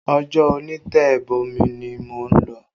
Ìjọ onitebomi ni mò ń lọ